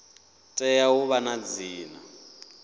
tea u vha na dzina